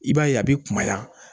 I b'a ye a bɛ kumaya